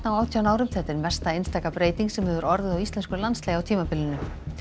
átján árum þetta er mesta einstaka breyting sem hefur orðið á íslensku landslagi á tímabilinu